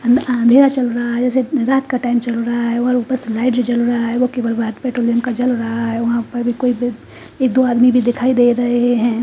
अध् अँधेरा चल रहा है ऐसे रात का टाइम चल रहा है और ऊपर से लाइट भी जल रहा है और केबल पे तुबेलिघ्त भी जल रहा है ये दो आदमी भी दिखाई दे रहे है।